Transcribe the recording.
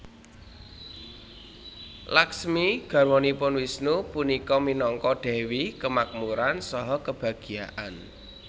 Lakhsmi garwanipun Wisnu punika minangka dewi kemakmuran saha kebahagiaan